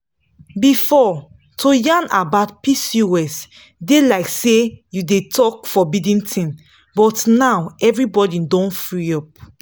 before to yarn about pcos dey like say you dey talk forbidden thing but now everybody don free up.